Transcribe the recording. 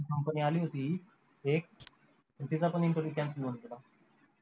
company आली होती एक त्याचा पण interview cancel होऊन गेला